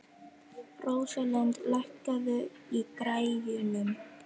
Rósalind, lækkaðu í græjunum.